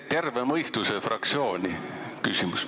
Terve mõistuse fraktsiooni.